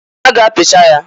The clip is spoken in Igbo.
A ga-apicha ya.